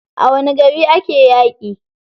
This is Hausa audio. A wani gari ake yaƙi?